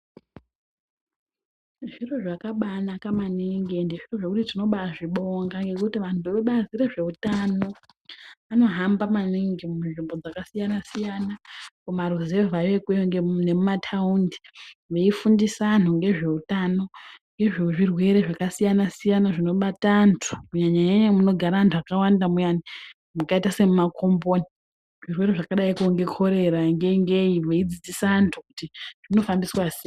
Zviro zvakabaanaka maningi ende zvekuti tinobaazvibonga ngekuti anhu vebazi rezveutano zveutano anohamba maningi munzvimbo dzakasiyana-siyana mumaruvhayo ikweyo nemumataundi veifundisa antu ngezveutano nezvo zvirwere zvakasiyana-siyana zvinobata antu kunyanya-nyanya munogara antu akawanda muyani, makaita semumakomboni. Zvirwere zvakadayiko ngekorera ngei-ngei veidzidzisa vantu kuti zvinofambiswa sei.